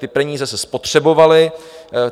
Ty peníze se spotřebovaly.